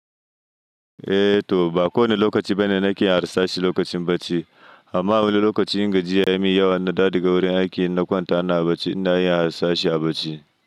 Eh to, ba kowane lokaci bane na ke yin harsashi lokacin bacci. Amma wani lokaci in gajiya ya yi min yawa in na dawo daga wurin aiki na kwanta ina bacci, ina yin harsashi a bacci.